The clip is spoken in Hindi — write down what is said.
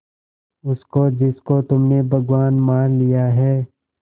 उसको जिसको तुमने भगवान मान लिया है